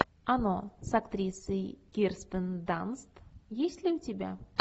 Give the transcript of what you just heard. оно с актрисой кирстен данст есть ли у тебя